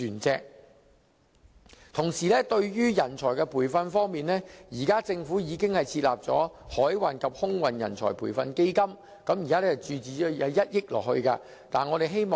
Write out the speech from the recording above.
至於人才培訓方面，現時政府已經設立海運及空運人才培訓基金，並已注資1億元。